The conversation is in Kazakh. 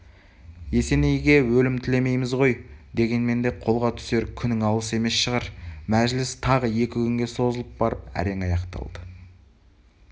есенейге өлім тілемейміз ғой дегенмен де қолға түсер күнің алыс емес шығар мәжіліс тағы екі күнге созылып барып әрең аяқталды